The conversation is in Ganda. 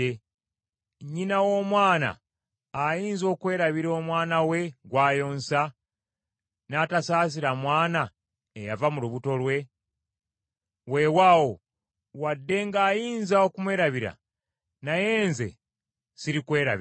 “Nnyina w’omwana ayinza okwerabira omwana we gw’ayonsa, n’atasaasira mwana eyava mu lubuto lwe? Weewaawo, wadde ng’ayinza okumwerabira naye nze sirikwerabira.